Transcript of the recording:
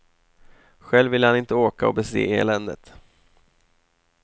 Själv ville han inte åka och bese eländet.